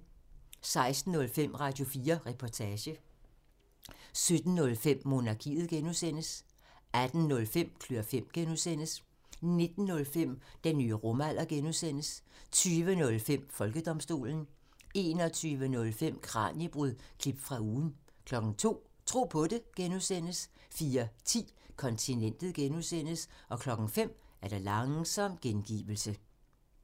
16:05: Radio4 Reportage 17:05: Monarkiet (G) 18:05: Klør fem (G) 19:05: Den nye rumalder (G) 20:05: Folkedomstolen 21:05: Kraniebrud – klip fra ugen 02:00: Tro på det (G) 04:10: Kontinentet (G) 05:00: Langsom gengivelse